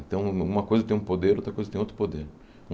Então, um uma coisa tem um poder, outra coisa tem outro poder.